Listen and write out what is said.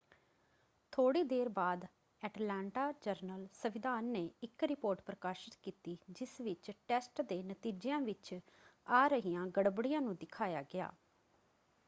ਥੋੜ੍ਹੀ ਦੇਰ ਬਾਅਦ ਐਟਲਾਂਟਾ ਜਰਨਲ-ਸੰਵਿਧਾਨ ਨੇ ਇੱਕ ਰਿਪੋਰਟ ਪ੍ਰਕਾਸ਼ਤ ਕੀਤੀ ਜਿਸ ਵਿੱਚ ਟੈਸਟ ਦੇ ਨਤੀਜਿਆਂ ਵਿੱਚ ਆ ਰਹੀਆਂ ਗੜਬੜੀਆਂ ਨੂੰ ਦਿਖਾਇਆ ਗਿਆ।